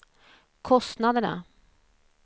kostnaderna